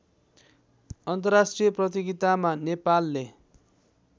अन्तर्राष्ट्रिय प्रतियोगितामा नेपालले